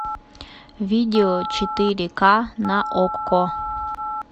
видео четыре ка на окко